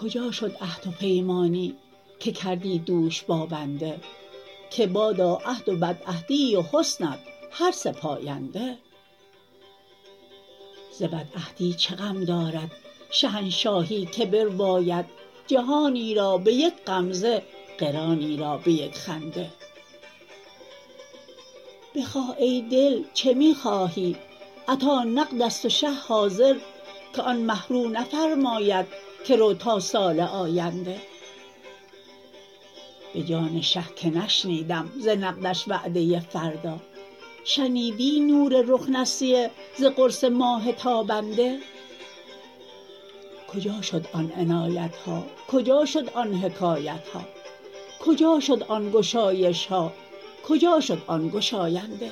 کجا شد عهد و پیمانی که کردی دوش با بنده که بادا عهد و بدعهدی و حسنت هر سه پاینده ز بدعهدی چه غم دارد شهنشاهی که برباید جهانی را به یک غمزه قرانی را به یک خنده بخواه ای دل چه می خواهی عطا نقد است و شه حاضر که آن مه رو نفرماید که رو تا سال آینده به جان شه که نشنیدم ز نقدش وعده فردا شنیدی نور رخ نسیه ز قرص ماه تابنده کجا شد آن عنایت ها کجا شد آن حکایت ها کجا شد آن گشایش ها کجا شد آن گشاینده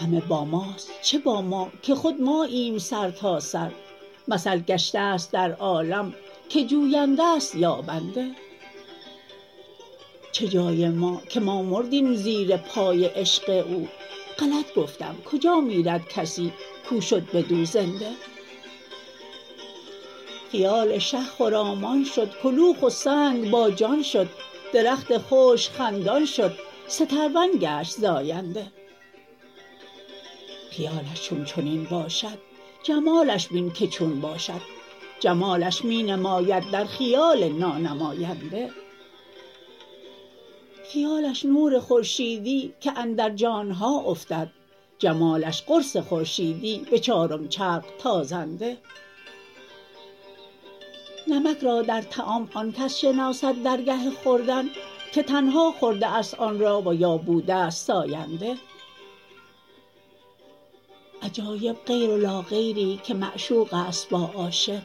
همه با ماست چه با ما که خود ماییم سرتاسر مثل گشته ست در عالم که جوینده ست یابنده چه جای ما که ما مردیم زیر پای عشق او غلط گفتم کجا میرد کسی کو شد بدو زنده خیال شه خرامان شد کلوخ و سنگ باجان شد درخت خشک خندان شد سترون گشت زاینده خیالش چون چنین باشد جمالش بین که چون باشد جمالش می نماید در خیال نانماینده خیالش نور خورشیدی که اندر جان ها افتد جمالش قرص خورشیدی به چارم چرخ تازنده نمک را در طعام آن کس شناسد در گه خوردن که تنها خورده ست آن را و یا بوده ست ساینده عجایب غیر و لاغیری که معشوق است با عاشق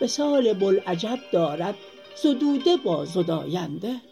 وصال بوالعجب دارد زدوده با زداینده